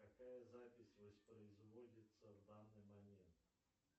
какая запись воспроизводится в данный момент